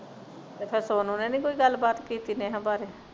ਤੇ ਫੇਰ ਸੋਨੂੰ ਨੇ ਨਹੀਂ ਕੋਈ ਗੱਲ ਬਾਤ ਕੀਤੀ ਨੇਹਾ ਬਾਰੇ